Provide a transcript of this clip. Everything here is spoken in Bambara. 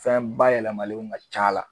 Fɛn bayɛlɛmalenw ka c'a la.